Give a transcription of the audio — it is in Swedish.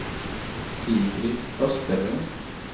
Sigrid Österlund